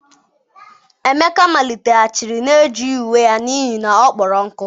emeka maliteghachiri na-ejighi uwe ya n'ihi na ọ kpọrọ nkụ.